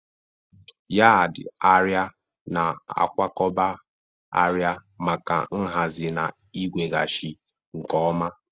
Yad arịa na-akwakọba arịa maka nhazi na iweghachi nke ọma.